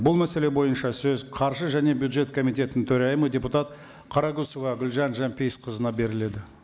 бұл мәселе бойынша сөз қаржы және бюджет комитетінің төрайымы депутат қарақұсова гүлжан жанпейісқызына беріледі